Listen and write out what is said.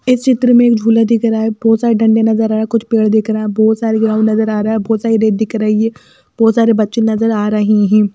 इस चित्र में एक झूला दिख रहा है बहुत सारे डंडे नजर आ रहा है कुछ पेड़ दिख रहा है बहुत सारे ग्राउंड नजर आ रहा है बहुत सारी रेत दिख रही है बहुत सारे बच्चे नजर आ रहे हैं।